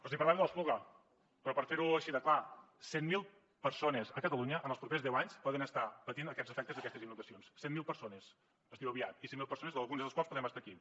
els parlava de l’espluga però per fer ho així de clar cent mil persones a catalunya en els propers deu anys poden estar patint aquests efectes d’aquestes inundacions cent mil persones es diu aviat i cent mil persones algunes de les quals podem estar aquí